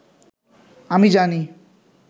আমি জানি